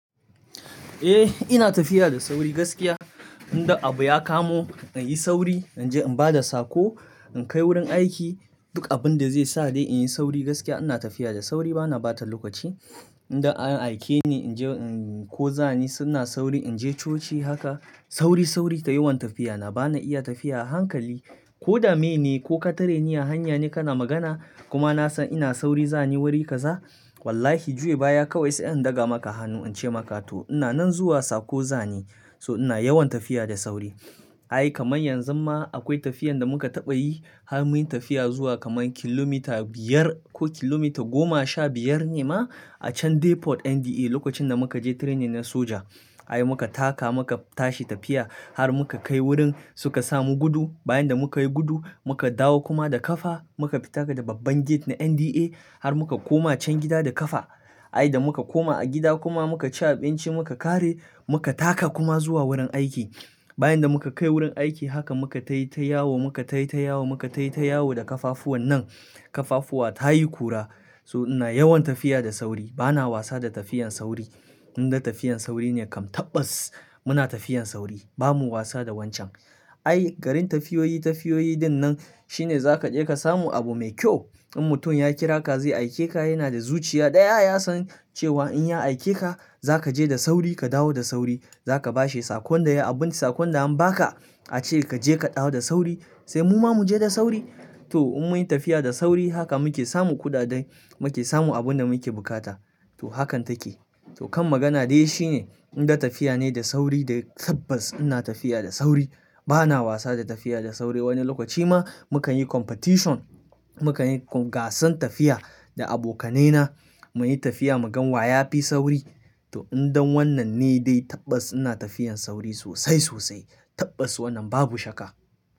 Eh ina tafiya da sauri gaskiya. Inda abu ya kamo in yi sauri, in je in ba da sako, in kai wurin aiki, duk abun da zai sa dai in yi sauri gaskiya ina tafiya da sauri bana bata lokaci. Inda an aike ni in je, in ko zani suna sauri, in je coci haka. Sauri, sauri kai yawan tafiya. Na bana iya tafiya a hankali ko dame ne ko ka tare ni a hanya ne kana magana kuma na san ina sauri za ni wuri kaza. Wallahi juye baya kawai sai in daga maka hannu in ce maka to ina nan zuwa sako zani. So ina yawan tafiya da sauri. Ai kamar yanzu ma akwai tafiyan da muka taɓa yi har muyi tafiya zuwa kamar kilomita biyar ko kilomita goma sha biyar ne ma a can Depot NDA, lokacin da muka je training na soja. Ai muka taka muka tashi tafiya har muka kai wurin suka samu gudu. Bayan da muka yi gudu muka dawo kuma da kafa muka fitaka da babban gate na NDA har muka koma can gida da kafa. Ai da muka koma a gida kuma muka ci abinci muka kare muka taka kuma zuwa wurin aiki. Bayan da muka kai wurin aiki haka muka tayi tayawo, muka tayi ta yawo, muka tayi ta yawo da kafafuwan nan. Kafafuwa ta yi kura. So ina yawan tafiya da sauri. Bana wasa da tafiyan sauri. Inda tafiyan sauri ne kam tabbas muna tafiyan sauri bamu wasa da wancan. Ai garin tafiyoyi, tafiyoyi din nan shine za ka je ka samu abu mai kyau. In mutum ya kira ka zai aike ka yana da zuciya daya ya san cewa in ya aike ka, za ka je da sauri ka dawo da sauri. Za ka bashe sakon da ya, abun sakon da an ba ka ace kaje ka dawo da sauri sai mu ma mu je da sauri. To in mun yi tafiya da sauri haka muke samu kuɗaɗen muke samu abun da muke bukata. To hakan take. To kan magana dai shine inda tafiya ne da sauri dai tabbas ina tafiya da sauri. Bana wasa da tafiya da sauri. Wani lokaci ma mukan yi competition, mukan yi gasan tafiya da abokanai na muyi tafiya mu gan wa ya fi sauri. To idan wannan ne dai tabbas ina tafiyan sauri sosai, sosai. Tabbas wannan babu shakka.